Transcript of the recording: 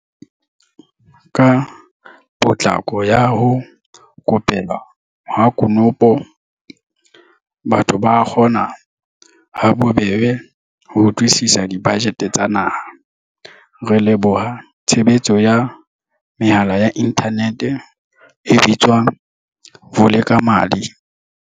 Ka potlako ya ho ko pelwa ha konopo, batho ba kgona ha bobebe ho utlwisisa dibajete tsa naha, re leboha tshebetso ya mehala ya inthanete e bitswang Vulekamali.